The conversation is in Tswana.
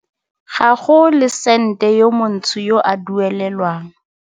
Ga go le sente yo montsho yo a duelelwang.